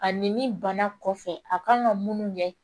Ani ni bana kɔfɛ a kan ka munnu ɲɛ